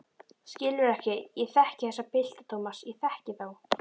Skilurðu ekki, ég þekki þessa pilta, Thomas, ég þekki þá.